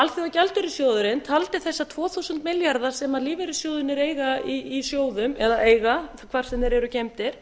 alþjóðagjaldeyrissjóðurinn taldi þessa tvö þúsund milljarða sem lífeyrissjóðirnir eiga í sjóðum eða eiga hvar sem þeir eru geymdir